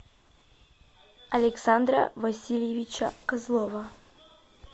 александра васильевича козлова